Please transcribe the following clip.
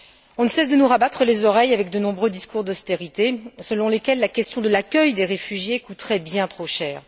On ne cesse de nous rebattre les oreilles avec de nombreux discours d'austérité, selon lesquels l'accueil des réfugiés coûterait bien trop cher.